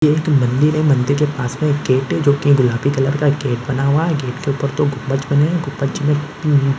ये एक मंदिर है मंदिर के पास में एक गेट है जो की गुलाबी कलर का एक गेट बना हुआ है गेट के ऊपर दो गुंमबज बना हुआ है गुंमबज में पी--